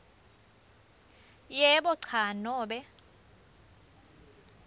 yebo cha nobe